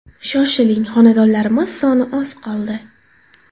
Shoshiling, xonadonlarimiz soni oz qoldi!